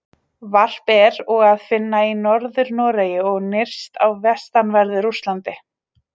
Varp er og að finna í Norður-Noregi og nyrst á vestanverðu Rússlandi.